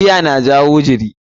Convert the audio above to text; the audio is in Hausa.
Giya na jawo jiri.